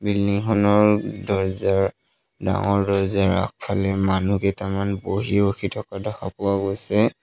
Building খনৰ দৰ্জাৰ ডাঙৰ দৰ্জাৰ আগফালে মানুহ কেইটামান বহি ৰখি থকা দেখা পোৱা গৈছে।